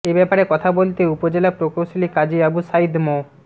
এ ব্যাপারে কথা বলতে উপজেলা প্রকৌশলী কাজী আবু সাঈদ মো